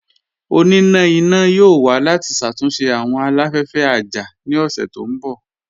Ọ̀nínà iná yóò wà láti ṣátúnṣe awọn aláfẹ̀fẹ̀ àjá ní ọṣẹ̀ tó nbọ̀.